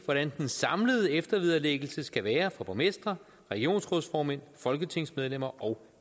hvordan den samlede eftervederlæggelse skal være for borgmestre regionsrådsformænd folketingsmedlemmer og